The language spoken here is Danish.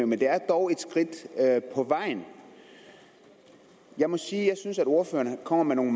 men det er dog et skridt på vejen jeg må sige at jeg synes ordføreren kommer med nogle